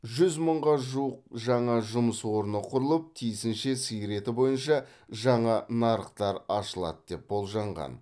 жүз мыңға жуық жаңа жұмыс орны құрылып тиісінше сиыр еті бойынша жаңа нарықтар ашылады деп болжанған